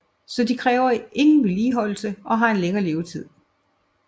Så de kræver ingen vedligeholdelse og har en længere levetid